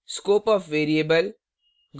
scope of variable